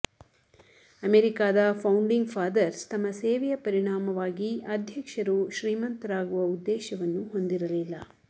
ಅಮೆರಿಕಾದ founding fathers ತಮ್ಮ ಸೇವೆಯ ಪರಿಣಾಮವಾಗಿ ಅಧ್ಯಕ್ಷರು ಶ್ರೀಮಂತರಾಗುವ ಉದ್ದೇಶವನ್ನು ಹೊಂದಿರಲಿಲ್ಲ